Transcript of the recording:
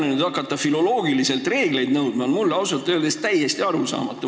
Kui nüüd hakata filoloogiliselt reegleid nõudma, siis see on mulle ausalt öeldes täiesti arusaamatu.